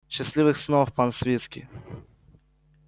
счастливых снов пан свицкий